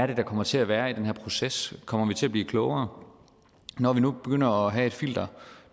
der kommer til at være i den her proces kommer vi til at blive klogere når vi nu begynder at have et filter